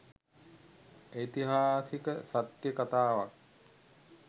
ඓතිහාසික සත්‍ය කතාවක්